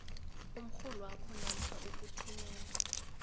umrholwakho namkha ukuthumela